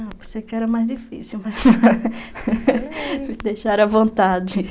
Ah, por ser que era mais difícil, mas... Me deixaram à vontade.